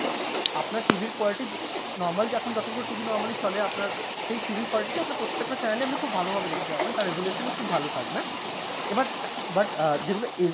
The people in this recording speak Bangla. আপনার TV এর quality normal যে এখন যতগুলো TV normally চলে আপনার সেই TV এর quality তে আপনি প্রত্যেকটা channel এ আপনি খুব ভালো ভাবে দেখতে পাবেন কারণ resolution ও খুব ভালো থাকবে এবার but যেগুলো HD